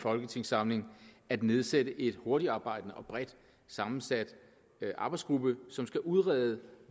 folketingssamling at nedsætte en hurtigarbejdende og bredt sammensat arbejdsgruppe som skal udrede